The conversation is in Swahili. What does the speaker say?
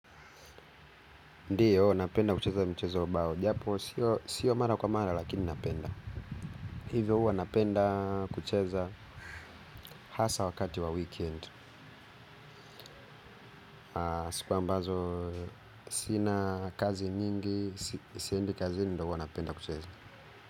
Ndiyo napenda kucheza mchezo wa bao, japo sio mara kwa mara lakini napenda. Hivyo huwa napenda kucheza hasa wakati wa weekend. Siku ambazo sina kazi nyingi, siendi kazini ndo huwa napenda kucheza.